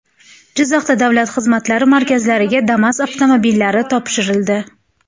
Jizzaxda davlat xizmatlari markazlariga Damas avtomobillari topshirildi .